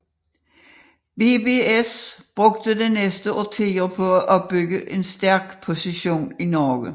BBS brugte de næste årtier på at opbygge en stærk position i Norge